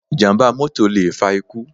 Ìjàm̀bá mọ́tọ̀ lè fa ikú.